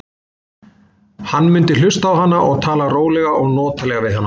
Hann mundi hlusta á hana og tala rólega og notalega við hana.